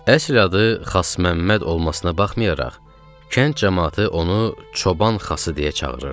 Əsl adı Xasməmməd olmasına baxmayaraq, kənd camaatı onu Çoban Xası deyə çağırırdı.